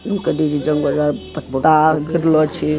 ऊ कथी छिये जंगल में पत्ता गिरलो छै।